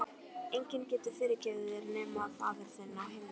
Enginn getur fyrirgefið þér nema faðir þinn á himnum.